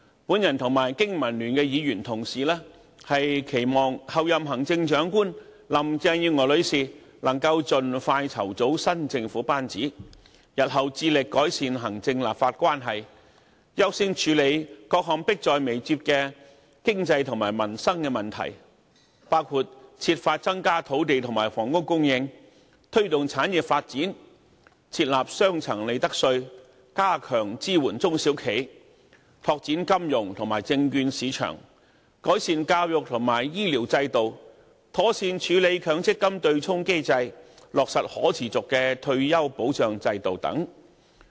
我和經民聯議員同事，期望候任行政長官林鄭月娥女士能夠盡快籌組新政府班子，日後致力改善行政立法關係，優先處理各項迫在眉睫的經濟和民生問題，包括設法增加土地和房屋供應，推動產業發展，設立雙層利得稅，加強支援中小企，拓展金融和證券市場，改善教育和醫療制度，妥善處理強制性公積金對沖機制，落實可持續的退休保障制度等。